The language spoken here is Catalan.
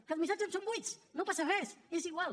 que els missatges són buits no passa res és igual